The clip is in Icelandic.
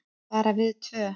Bara við tvö.